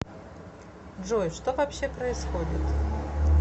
джой что вообще происходит